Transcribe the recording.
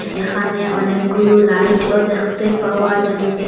এখানে অনেকগুলো লাইটও দেখতে পাওয়া যাচ্ছে।